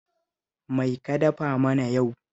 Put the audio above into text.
Mai ka dafa mana yau